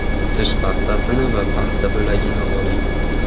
Tish pastasini va paxta bo‘lagini oling.